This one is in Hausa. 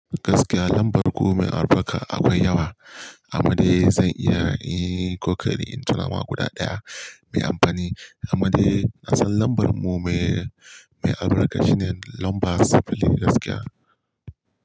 Gaskiya lambar ku mai albarka akwai yawa, amma dai zan iya yin kokari in tuna ma guda ɗaya mai amfani. Amma dai na san lambar mu mai, mai albarka shine lamba saba'in gaskiya.